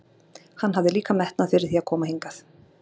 Hann hafði líka metnað fyrir því að koma hingað.